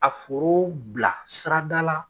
A foro bila sirada la